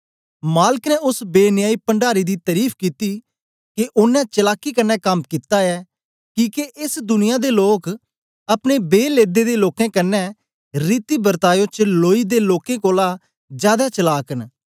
मालक ने ओस बेन्यायी पण्डारी दी तरीफ कित्ती के ओनें चलाकी कन्ने कम्म कित्ता ऐ किके एस दुनिया दे लोक अपने बे लेदे दे लोकें कन्ने रीति बर्तायो च लोई दे लोकें कोलां जादै चलाक न